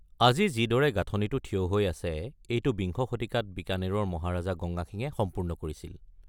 আজি যিদৰে গাঁথনিটো থিয় হৈ আছে, এইটো বিংশ শতিকাত বিকানেৰৰ মহাৰাজা গংগা সিঙে সম্পূৰ্ণ কৰিছিল।